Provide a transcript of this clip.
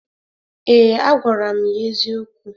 Ee, agwara m ya eziokwu.